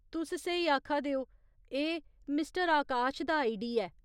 तुस स्हेई आखा दे ओ, एह् मिस्टर आकाश दा आईडी ऐ।